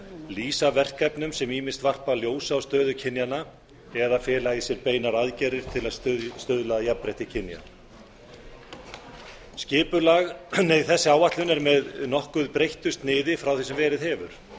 lýsa verkefnum sem ýmist varpa ljósi á stöðu kynjanna eða fela í sér beinar aðgerðir til að stuðla að jafnrétti kynja þessi áætlun er með nokkuð breyttu sniði frá því sem verið hefur